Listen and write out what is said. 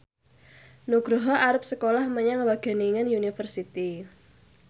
Nugroho arep sekolah menyang Wageningen University